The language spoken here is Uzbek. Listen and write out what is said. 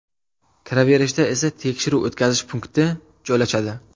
Kiraverishda esa tekshiruv-o‘tkazish punkti joylashadi.